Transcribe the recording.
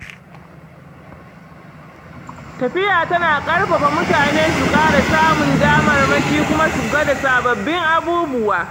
Tafiya tana ƙarfafa mutane su ƙara samun damarmaki kuma su gwada sababbin abubuwa.